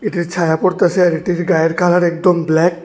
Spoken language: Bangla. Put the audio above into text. এর ছায়া পড়তাছে আর এটির গায়ের কালার একদম ব্ল্যাক ।